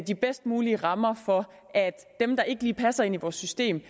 de bedst mulige rammer for at dem der ikke lige passer ind i vores system